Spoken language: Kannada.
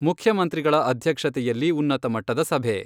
ಮುಖ್ಯಮಂತ್ರಿಗಳ ಅಧ್ಯಕ್ಷತೆಯಲ್ಲಿ ಉನ್ನತ ಮಟ್ಟದ ಸಭೆ